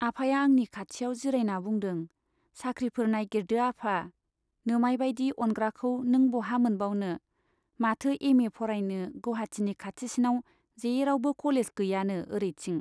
आफाया आंनि खाथियाव जिरायना बुंदों, साख्रिफोर नाइगिरदो आफा। नोमाय बाइदि अनग्राखौ नों बहा मोनबावनो , माथो एमए फरायनो गौहाटिनि खाथिसिनाव जेरावबो कलेज गैयानो ओरैथिं ?